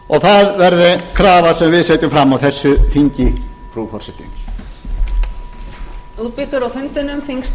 það verði krafa sem við setjum fram á þessu þingi frú forseti